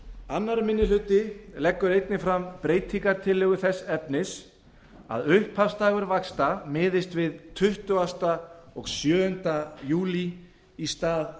annar minni hluti leggur fram breytingartillögu þess efnis að upphafsdagur vaxta miðist við tuttugustu og sjöunda júlí í stað